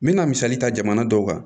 N me na misali ta jamana dɔw kan